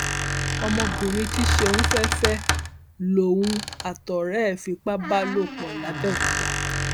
ọmọbìnrin tí ṣéun fẹẹ fẹ lòun àtọrẹ ẹ fipá bá lò pọ làbẹòkúta